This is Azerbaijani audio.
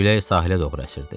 Külək sahilə doğru əsirdi.